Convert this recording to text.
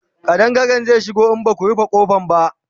ƙadangare zai shigo in Baku rufe ƙofa ba